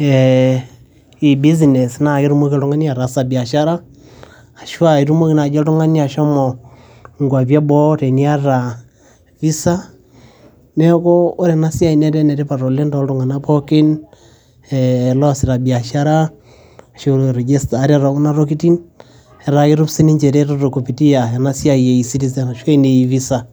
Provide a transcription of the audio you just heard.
eh,e business naa ketumoki oltung'ani ataasa biashara ashua itumoki naaji oltung'ani ashomo nkuapi eboo teniata visa neeku ore enasiai netaa enetipat oleng toltung'anak pookin eh losita biashara ashu register ate tekuna tokiting etaa ketum sininche ereteto kupitia enasiai e e citizen ashua ene e visa.